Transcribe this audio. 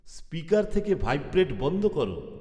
speaker থেকে vibrate বন্ধ করো